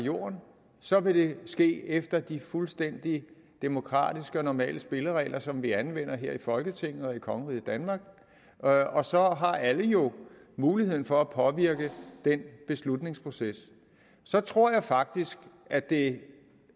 jorden så vil det ske efter de fuldstændig demokratiske og normale spilleregler som vi anvender her i folketinget og i kongeriget danmark og så har alle jo mulighed for at påvirke den beslutningsproces så tror jeg faktisk at det